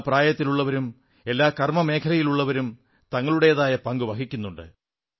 എല്ലാ പ്രായത്തിലുമുള്ളവരും എല്ലാ കർമ്മമേഖലയിലുമുള്ളവരും തങ്ങളുടേതായ പങ്കു വഹിക്കുന്നുണ്ട്